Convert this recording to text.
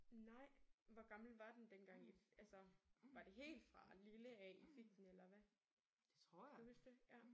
Nej! Hvor gammel var den dengang I altså var det helt fra lille af I fik den eller hva? Kan du huske det? Ja